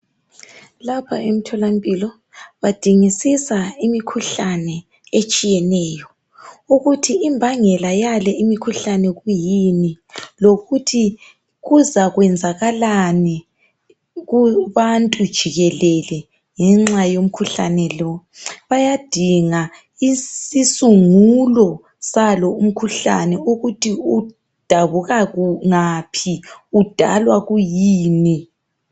Lapha emthola mpilo badingisisa imikhuhlane etshiyeneyo ukuthi imbangela yale imikhuhlane kwiyini kuzayenzakalani kubantu jikelele ngenxa yomkhuhlano lo bayadinga isisungo salo umkhuhlane ukuthi udabuka ngaphi udalwa kwiyini